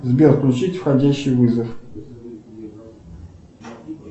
сбер включить входящий вызов